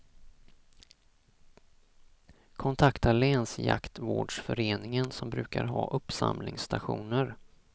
Kontakta länsjaktvårdsföreningen, som brukar ha uppsamlingsstationer.